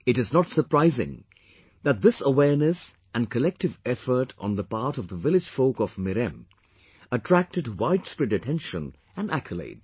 It is not surprising that this awareness and collective effort on the part of village folk of Mirem attracted widespread attention and accolades